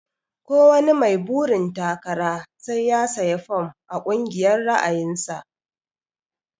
Ko wani mai burin takara sai ya siya fom a kungiyar ra'ayin sa.